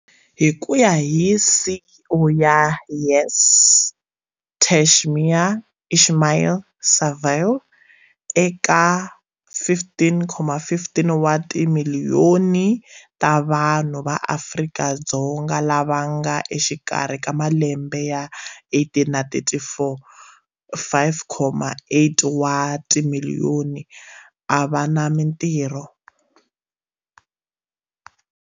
Hi ku ya hi CEO ya YES Tashmia Ismail-Saville, eka 15.5 wa timiliyoni ta vanhu va Afrika-Dzonga lava va nga exikarhi ka malembe ya 18 na 34, 5.8 wa timiliyoni a va na mitirho.